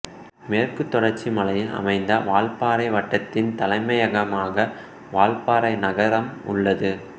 மேற்கு தொடர்ச்சி மலையில் அமைந்த வால்பாறை வட்டத்தின் தலைமையகமாக வால்பாறை நகரம் உள்ளது